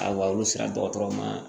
A walu sera dɔgɔtɔrɔ ma